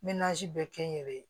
bɛɛ kɛ n yɛrɛ ye